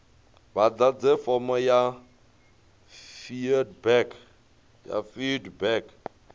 vha ḓadze fomo ya feedback